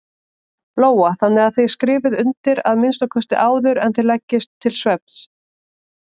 Lóa: Þannig að þið skrifið undir að minnsta kosti áður en þið leggist til svefns?